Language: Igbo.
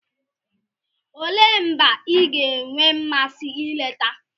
Olee mba ị ga-enwe mmasị ileta?